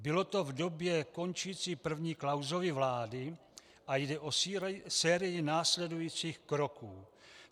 Bylo to v době končící první Klausovy vlády a jde o sérii následujících kroků.